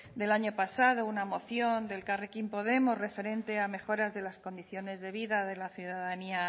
del año pasado una moción de elkarrekin podemos referente a mejoras de las condiciones de vida de la ciudadanía